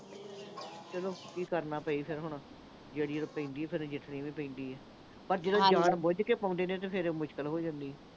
ਚਲੋ ਕੀ ਕਰਨਾ ਪਏ ਫਿਰ ਹੁਣ। ਤਾਂ ਪੈਂਦੀ ਆ, ਫਿਰ ਨਜਿੱਠਣੀ ਵੀ ਪੈਂਦੀ ਆ। ਪਰ ਜਿਹੜੇ ਜਾਣਬੁੱਝ ਕੇ ਪਾਉਂਦੇ ਨੇ, ਫਿਰ ਮੁਸ਼ਕਿਲ ਹੋ ਜਾਂਦੀ ਆ।